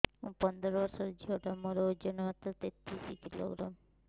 ମୁ ପନ୍ଦର ବର୍ଷ ର ଝିଅ ଟା ମୋର ଓଜନ ମାତ୍ର ତେତିଶ କିଲୋଗ୍ରାମ